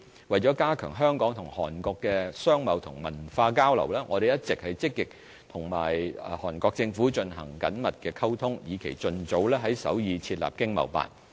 為加強香港與韓國的商貿和文化交流，我們一直積極與韓國政府進行緊密溝通，以期盡早在首爾設立經貿辦。